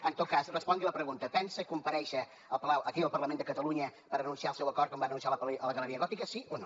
en tot cas respongui la pregunta pensa comparèixer aquí al parlament de catalunya per anunciar el seu acord com ho va anunciar a la galeria gòtica sí o no